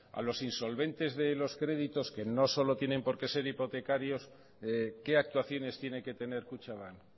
a los insolventes de los créditos que no solo tienen que ser hipotecarios qué actuaciones tiene que tener kutxabank